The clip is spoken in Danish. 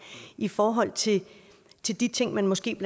i forhold til de de ting man måske